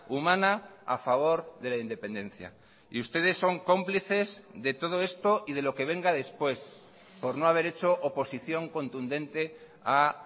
humana a favor de la independencia y ustedes son cómplices de todo esto y de lo que venga después por no haber hecho oposición contundente a